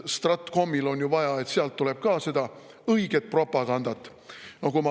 Stratkomil on ju vaja, et sealt tuleks ka seda õiget propagandat.